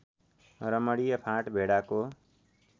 रमणीय फाँट भेडाको